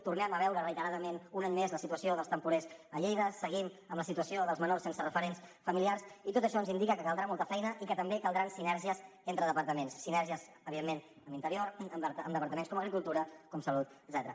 tornem a veure reiteradament un any més la situació dels temporers a lleida seguim amb la situació dels menors sense referents familiars i tot això ens indica que caldrà molta feina i que també caldran sinergies entre departaments sinergies evidentment amb interior amb departaments com agricultura com salut etcètera